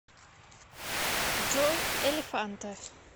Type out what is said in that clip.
джой элефанте